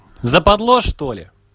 западло что ли